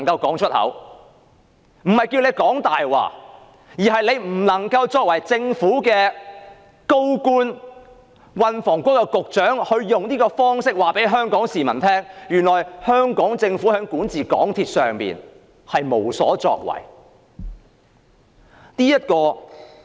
我不是要他說謊，而是他作為政府高官、運輸及房屋局局長，不能夠用這種方式告訴全港市民，香港政府在管治港鐵公司上無所作為。